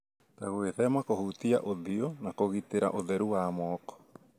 ta gwĩthema kũhutia ũthiũ na gũtigĩrĩra ũtheru wa moko.